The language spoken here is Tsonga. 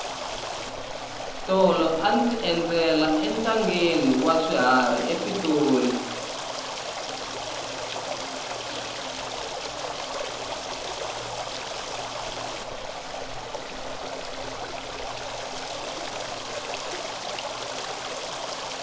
tolo a ndzi endzela entangheni wa swiharhi epitori